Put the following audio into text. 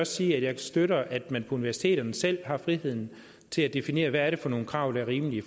sige at jeg støtter at man på universiteterne selv har friheden til at definere hvad det er for nogle krav der er rimelige i